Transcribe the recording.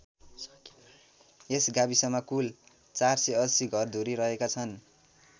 यस गाविसमा कुल ४८० घरधुरी रहेका छन्।